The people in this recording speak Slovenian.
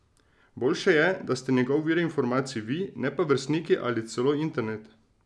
Boljše je, da ste njegov vir informacij vi, ne pa vrstniki ali celo internet.